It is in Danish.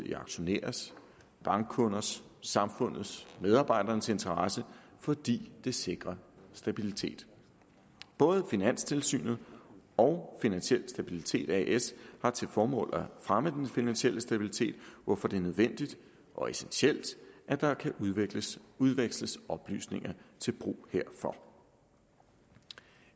i auktionærers bankkunders samfundets og medarbejdernes interesse fordi det sikrer stabilitet både finanstilsynet og finansiel stabilitet as har til formål at fremme den finansielle stabilitet hvorfor det er nødvendigt og essentielt at der kan udveksles udveksles oplysninger til brug herfor